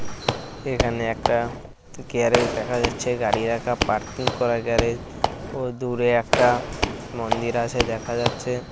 এখানে একটা গ্যারেজ দেখা যাচ্ছে। গাড়ি রাখা পারকিং করা গ্যারেজ । ও দূরে একটা মন্দির আছে দেখা যাচ্ছে।